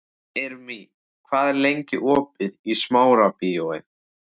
Irmý, hvað er lengi opið í Smárabíói?